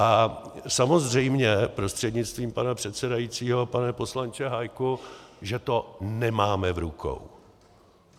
A samozřejmě, prostřednictvím pana předsedajícího pane poslanče Hájku, že to nemáme v rukou.